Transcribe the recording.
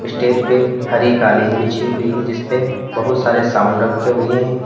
Stage पे हरी कालीन बिछी हुई है जिसपे बहुत सारे साउंड रखें हुए है।